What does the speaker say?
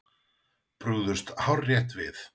Brugðust hárrétt við